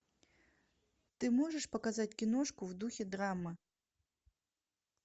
ты можешь показать киношку в духе драмы